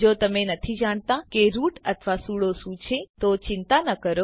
જો તમે નથી જાણતા કે રૂટ અથવા સૂડો શું છે ચિંતા ન કરો